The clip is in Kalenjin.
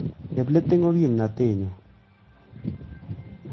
Chepleting ko kimnatet nyu